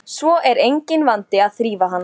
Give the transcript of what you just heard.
En til hvers er að vera að tala um þetta?